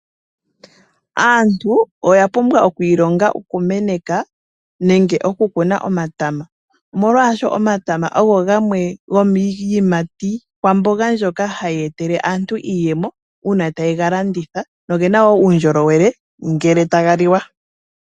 Aantu oya pumbwa okwiilonga oku meneka nenge okukuna omatama , omolwaashoka omatama ogo gamwe gomiiyimati kwamboga mbyoka hayi etele aantu iiyemo uuna taya kalanditha noyina woo uundjolowele ngele taga liwa.